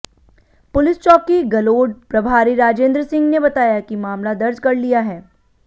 police चौकी गलोड प्रभारी राजेंद्र सिंह ने बताया कि मामला दर्ज कर लिया है